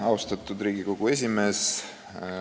Austatud Riigikogu esimees!